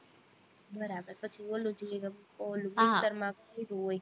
બરાબર પછી ઓલું જી ઓલું mixture માં કરું હોય